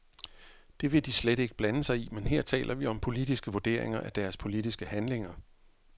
Det vil de slet ikke blande sig i, men her taler vi om politiske vurderinger af deres politiske handlinger.